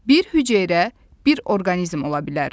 Bir hüceyrə bir orqanizm ola bilər.